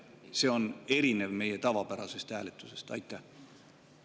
See on erinev meie tavapärasest hääletusest.